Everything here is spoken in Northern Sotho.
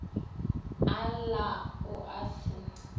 a lla o a se